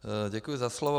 Děkuji za slovo.